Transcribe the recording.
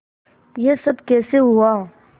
यह सब कैसे हुआ